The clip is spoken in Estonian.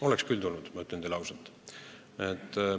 Oleks küll tulnud, ma ütlen teile ausalt.